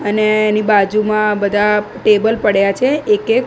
અને એની બાજુમા બધા ટેબલ પડ્યા છે એકે--